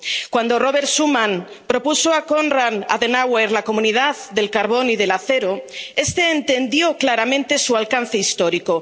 Cuando Robert Schuman propuso a Konrad Adenauer la Comunidad del Carbón y del Acero, este entendió claramente su alcance histórico.